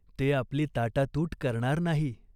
ते आपली ताटातूट करणार नाही.